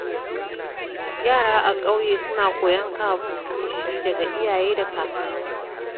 Yara a ƙauye suna koyon kamun kifi daga iyaye da kakanninsu.